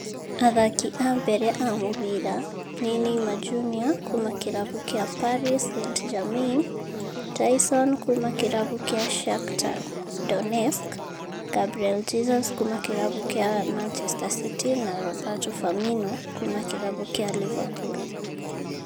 Athaki a mbere a mũbira nĩ Neymar Jr kuuma kĩrabu kĩa Paris St-Germain, Taison kuuma kĩrabu kĩa Shakhtar Donetsk, Gabriel Jesus kuuma kĩrabu kĩa Manchester City na Roberto Firmino kuuma kĩrabu kĩa Liverpool.